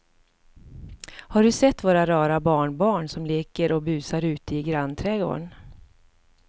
Har du sett våra rara barnbarn som leker och busar ute i grannträdgården!